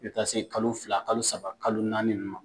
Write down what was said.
U bɛ taa se kalo fila kalo saba kalo naani ninnu ma